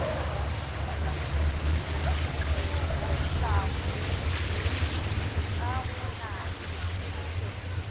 di golago ka go nanya